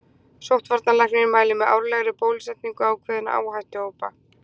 Sóttvarnalæknir mælir með árlegri bólusetningu ákveðinna áhættuhópa.